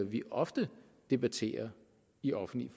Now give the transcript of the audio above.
vi ofte debatterer i offentlige